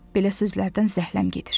Belə sözlərdən zəhləm gedir.